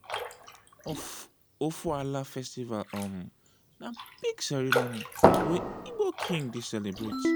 ofoala festival um na big ceremony wey igbo king dey celebrate.